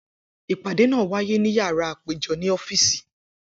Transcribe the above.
Ipade naa waye ni yárà apejọ ni ọ́fíìsì.